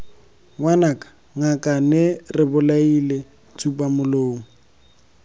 ngwanaka ngakane re bolaile tsupamolomo